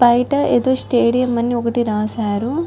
బయట ఏదో స్టేడియం అని ఒకటి రాసారు --